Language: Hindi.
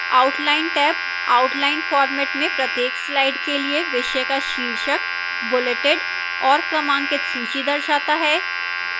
outline tab outline format में प्रत्येक slide के लिए विषय का शीर्षक bulleted और क्रमांकित सूची दर्शाता है